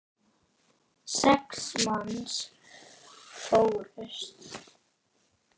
Sex manns fórust.